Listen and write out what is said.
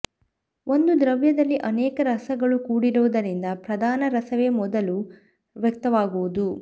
ಒಂದು ದ್ರವ್ಯದಲ್ಲಿ ಅನೇಕ ರಸಗಳು ಕೂಡಿರುವುದರಿಂದ ಪ್ರಧಾನ ರಸವೇ ಮೊದಲು ವ್ಯಕ್ತವಾಗುವುದು